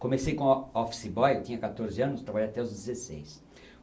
Comecei como o office boy, eu tinha quatorze anos, trabalhei até os dezesseis.